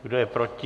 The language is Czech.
Kdo je proti?